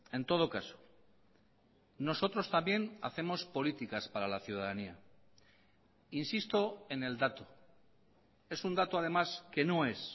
en todo caso nosotros también hacemos políticas para la ciudadanía insisto en el dato es un dato además que no es